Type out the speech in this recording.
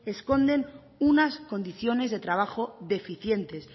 esconden unas condiciones de trabajo deficientes